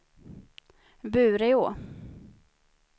Bureå